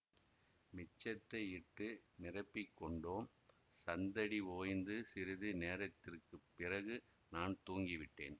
மிச்சத்தை இட்டு நிரப்பிக் கொண்டோம் சந்தடி ஓய்ந்து சிறிது நேரத்திற்கு பிறகு நான் தூங்கிவிட்டேன்